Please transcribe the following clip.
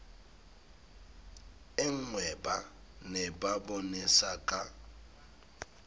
e nngweba ne ba bonesaka